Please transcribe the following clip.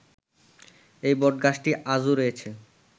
এই বটগাছটি আজও রয়েছে